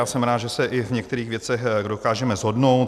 Já jsem rád, že se i v některých věcech dokážeme shodnout.